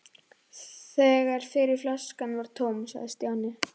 Þegar fyrri flaskan var tóm sagði Stjáni